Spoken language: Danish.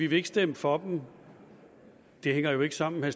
vil stemme for dem det hænger jo ikke sammen og